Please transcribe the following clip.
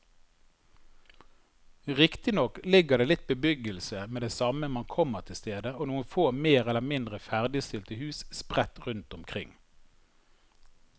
Riktignok ligger det litt bebyggelse med det samme man kommer til stedet og noen få mer eller mindre ferdigstilte hus sprett rundt omkring.